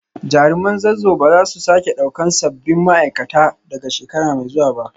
Jaruman Zazzau ba za su sake daukar sabbin ma’aikata daga shekara mai zuwa ba